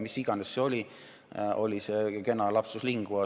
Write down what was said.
Mis iganes see oli, oli see kena lapsus linguae.